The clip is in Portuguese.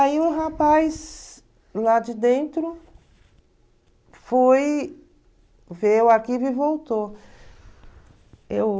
Aí o rapaz lá de dentro foi ver o arquivo e voltou. Eu...